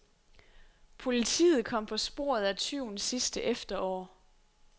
Politiet kom på sporet af tyven sidste efterår.